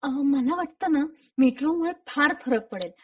अ.. मला वाटत मेट्रो मुळे फार फरक पडेल.